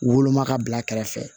Woloma ka bila kɛrɛfɛ